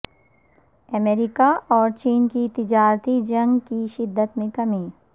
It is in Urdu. امریکا اور چین کی تجارتی جنگ کی شدت میں کمی